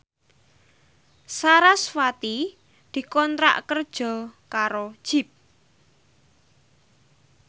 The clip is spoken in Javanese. sarasvati dikontrak kerja karo Jeep